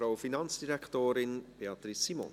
Das Wort hat die Finanzdirektorin, Beatrice Simon.